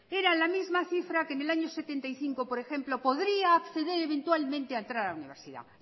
era la misma cifra que en el año mil novecientos setenta y cinco por ejemplo podría acceder eventualmente a entrar a la universidad